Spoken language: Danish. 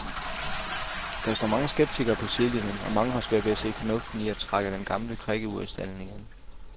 Der står mange skeptikere på sidelinjen, og mange har svært ved at se fornuften i at trække den gamle krikke ud af stalden igen.